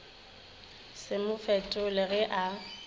se mo fetole ge a